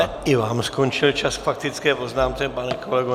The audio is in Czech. Teď i vám skončil čas k faktické poznámce, pane kolego.